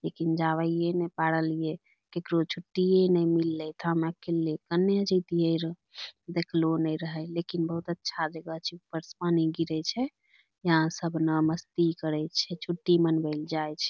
लेकिन जाबैये ने पार लिए केकरो छुट्टिए नै मिललै त हम अकेले कन्ने जैतिए रह देखलो नै रहै लेकिन बहुत अच्छा जगह छै ऊपर से पानी गिरै छै यहाँ सब न मस्ती करै छै छुट्टी मनबै ल जाय छै।